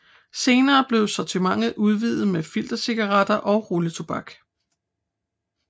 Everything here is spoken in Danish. Senere blev sortimentet udvidet med filtercigaretter og rulletobak